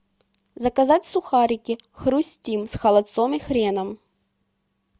заказать сухарики хрустим с холодцом и хреном